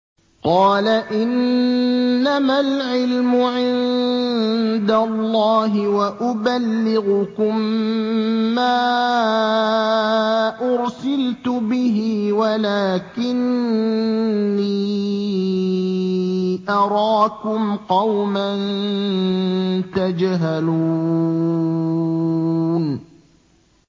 قَالَ إِنَّمَا الْعِلْمُ عِندَ اللَّهِ وَأُبَلِّغُكُم مَّا أُرْسِلْتُ بِهِ وَلَٰكِنِّي أَرَاكُمْ قَوْمًا تَجْهَلُونَ